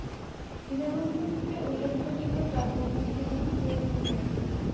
দীনবন্ধু মিত্রের উল্লেখ্য যোগ্য কাব্যগ্রন্থের নাম সুরধনী কাব্য।